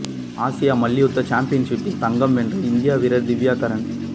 ஆசிய மல்யுத்த சாம்பியன்ஷிப்பில் தங்கம் வென்றார் இந்திய வீரர் திவ்யா கக்ரான்